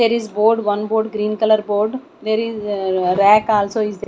there is board one board green colour board there is a rack also is they--